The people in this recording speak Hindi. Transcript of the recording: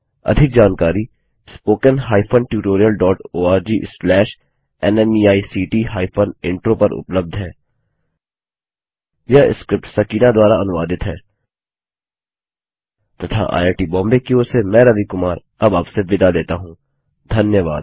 अधिक जानकारी spoken hyphen tutorial dot org slash NMEICT hyphen intro पर उपलब्ध है यह स्क्रिप्ट सकीना द्वारा अनुवादित है तथा आईआई टी बॉम्बे की ओर से मैं रवि कुमार अब आपसे विदा लेता हूँ धन्यवाद